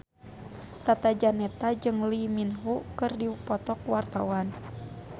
Tata Janeta jeung Lee Min Ho keur dipoto ku wartawan